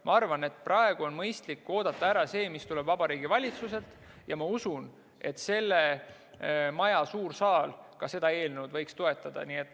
Ma arvan, et praegu on mõistlik oodata ära see, mis tuleb Vabariigi Valitsuselt, ja usun, et selle maja suur saal võiks seda eelnõu toetada.